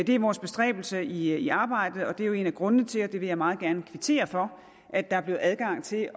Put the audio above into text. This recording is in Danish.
det er vores bestræbelse i arbejdet og det er jo en af grundene til og det vil jeg meget gerne kvittere for at der er blevet adgang til